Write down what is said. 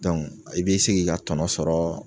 i be se k'i ka tɔnɔ sɔrɔɔ